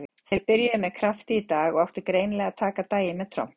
Þeir byrjuðu með krafti í dag og átti greinilega að taka daginn með tromp.